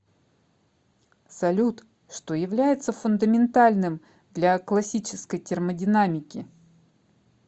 салют что является фундаментальным для классической термодинамики